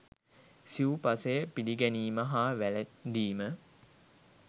සිව් පසය පිළිගැනීම හා වැළඳීම